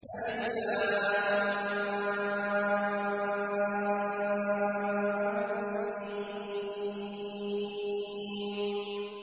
الم